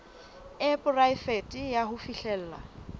e poraefete ya ho fihlella